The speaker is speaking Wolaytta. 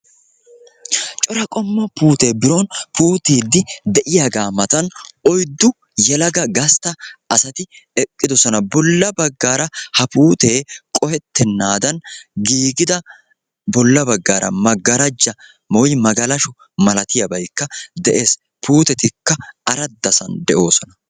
Cora qommo puute biron puuttidi deiyaagaa matan oyddu yelaga gastta asati eqqidosona. Bolla baggaara ha puutee qohettenaadan giiggida bolla baggaara magaraajja woykko magalasho malatiyabaykka de'ees. Puutetikka aradasan de'oosona.